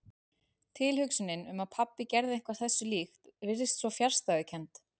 Tilhugsunin um að pabbi gerði eitthvað þessu líkt virtist svo fjarstæðukennd.